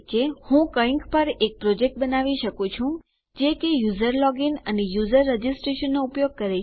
હું કંઈક પર એક પ્રોજેક્ટ બનાવી શકું છું જે કે યુઝર લોગીન અને યુઝર રજીસ્ટ્રેશનનો ઉપયોગ કરે છે